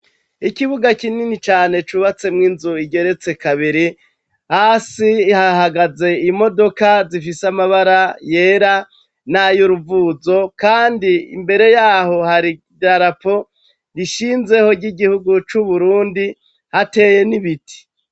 Ikibuga kinini cane cubatsemwo inzu igeretse kabiri hasi hahagaze imodoka zifise amabara yera nay'uruvuzo kandi imbere yaho hari idarapo rishinzeho ry'igihugu c'Uburundi hateye n'ibiti.